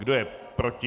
Kdo je proti?